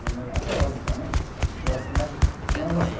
Até hoje também, gosto mais